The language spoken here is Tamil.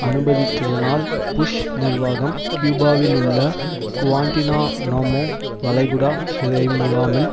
அனுமதித்ததனால் புஷ் நிர்வாகம் கியூபாவிலுள்ள குவாண்டினாநாமோ வளைகுடா சிறைமுகாமில்